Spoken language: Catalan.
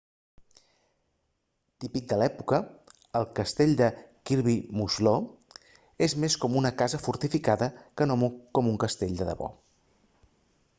típic de l'època el castell kirby muxloe és més com una casa fortificada que no com un castell de debò